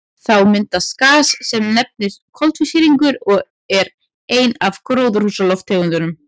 Þá myndast gas sem nefnist koltvísýringur og er ein af gróðurhúsalofttegundunum.